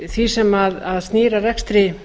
því sem snýr að rekstri